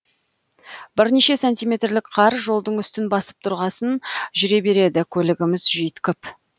бірнеше сантиметрлік қар жолдың үстін басып тұрғасын жүре береді көлігіміз жүйткіп